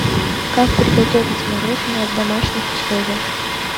как приготовить мороженое в домашних условиях